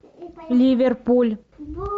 ливерпуль